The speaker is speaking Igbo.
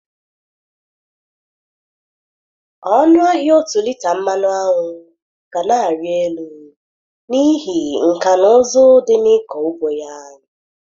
Ọnụ ahịa ọtu lita mmanụ aṅụ ga na-arị élú, n'ihi nkà na ụzụ dị na ịkọ ugbo ya.